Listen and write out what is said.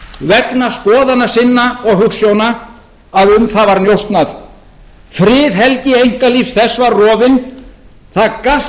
vegna skoðana sinn og hugsjóna að um það var njósnað friðhelgi einkalífs þess var rofin það galt